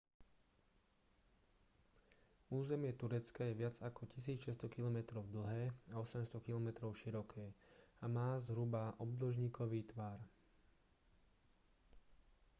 územie turecka je viac ako 1 600 kilometrov dlhé a 800 kilometrov široké a má zhruba obdĺžnikový tvar